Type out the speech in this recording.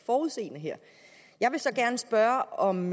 forudseende her jeg vil så gerne spørge om